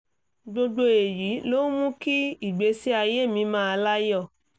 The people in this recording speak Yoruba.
gbogbo èyí ló ń mú kí ìgbésí ayé mi máà láyọ̀